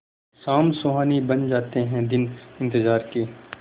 शाम सुहानी बन जाते हैं दिन इंतजार के